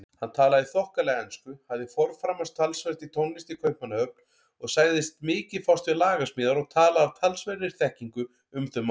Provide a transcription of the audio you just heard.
Hann talaði þokkalega ensku, hafði forframast talsvert í tónlist í Kaupmannahöfn og sagðist mikið fást við lagasmíðar og talaði af talsverðri þekkingu um þau mál.